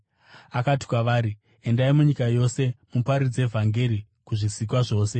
Akati kwavari, “Endai munyika yose muparidze vhangeri kuzvisikwa zvose.